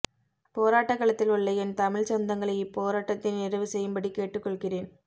போராட்டக்களத்தில் உள்ள என் தமிழ் சொந்தங்களை இப்போராட்டத்தை நிறைவு செய்யும்படி கேட்டுக்கொள்கிறேன்